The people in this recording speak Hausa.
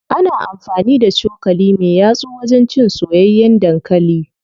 Ana amfani da cokali me yatsu wajen cin soyayyen dankali.